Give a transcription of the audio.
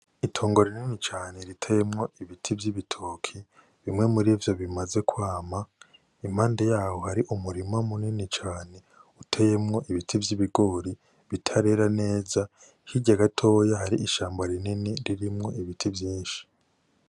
Itongo rinini cane riteyemwo ibiti vy'ibitoki bimwe mu rivyo bimaze kwama impande yaho hari umurima mu nini cane uteyemwo ibiti vy'ibigori bitarera neza hirya gatoyi hari ishamba ririmwo ibiti vyishi.